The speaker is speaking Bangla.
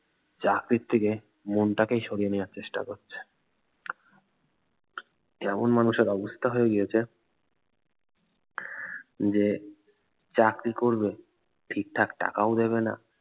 চাকরির থেকে মনটাকেই সরিয়ে নেওয়ার চেষ্টা করছে যেমন মানুষের অবস্থা হয়ে গিয়েছে যে চাকরি করবে ঠিকঠাক টাকাও দেবে না